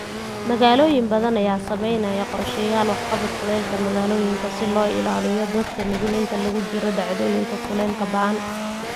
Magaalooyin badan ayaa samaynaya qorshayaal waxqabad kulaylka magaalooyinka si loo ilaaliyo dadka nugul inta lagu jiro dhacdooyinka kulaylka ba'an.